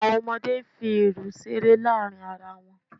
Àwọn ọmọdé ń fi irù ṣeré láàrin ara wọn